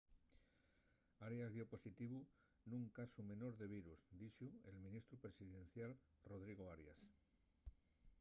arias dio positivo nun casu menor de virus dixo’l ministru presidencial rodrigo arias